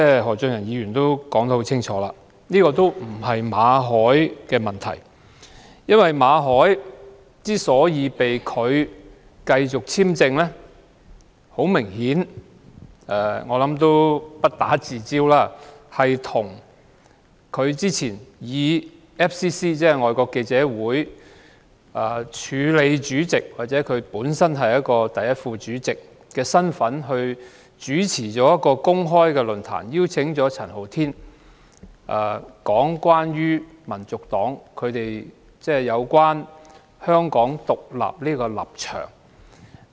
何俊賢議員剛才說明，這不是馬凱的問題，他被拒續發簽證的原因，很明顯是與他早前以香港外國記者會署理主席或第一副主席的身份主持一個公開論壇，邀請陳浩天講解香港民族黨有關香港獨立的立場。